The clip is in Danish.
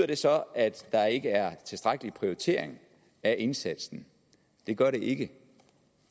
det så at der ikke er en tilstrækkelig prioritering af indsatsen det gør det ikke